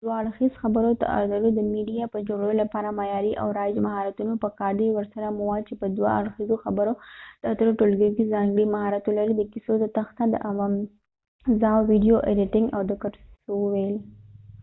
د دوه اړخیز خبرو اترو د میډیا د جوړولو لپاره معیاری او رایج مهارتونه په کار دي ورسره مواد چې په دوه اړخیزو خبرو اترو ټولګیو کې ځانګړی مهارت ولري ، د قصو تخته ، د اوازاو ويديو ایديټنګ او د قصو ويل